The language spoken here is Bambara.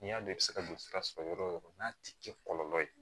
N'i y'a dɔn i bɛ se ka don sira sɔrɔ yɔrɔ o yɔrɔ n'a ti kɛ kɔlɔlɔ ye